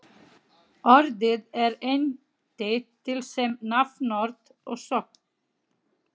Orðið er einnig til sem nafnorð og sögn.